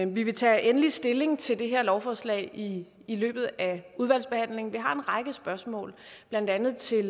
vi vil tage endelig stilling til det her lovforslag i i løbet af udvalgsbehandlingen vi har en række spørgsmål blandt andet til